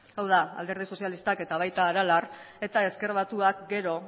hau da alderdi sozialistak eta baita aralar eta ezker batuak gero